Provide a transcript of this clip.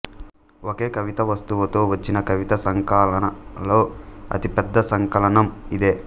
ఒకే కవితావస్తువుతో వచ్చిన కవితా సంకలనాలలో అతిపెద్ద సంకలనం ఇదే